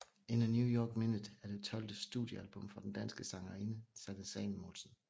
In a New York Minute er det tolvte studiealbum fra den danske sangerinde Sanne Salomonsen